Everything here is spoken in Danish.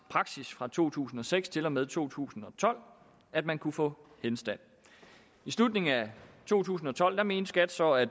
praksis fra to tusind og seks til og med to tusind og tolv at man kunne få henstand i slutningen af to tusind og tolv mente skat så at